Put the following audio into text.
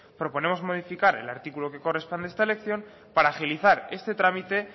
proponemos modificar el artículo que corresponde a esta elección para agilizar este trámite